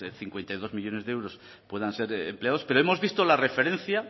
cincuenta y dos millónes de euros puedan ser empleados pero hemos visto la referencia